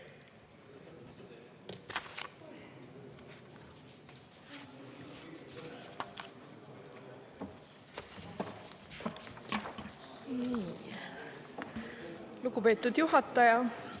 Lugupeetud juhataja!